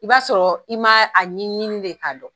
I b'a sɔrɔ i ma a ɲini nɲini de ka dɔn.